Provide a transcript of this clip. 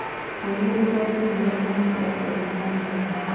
Mũrimũ ũtoekaine nĩ ũragetĩ andũ aingĩ Kantafu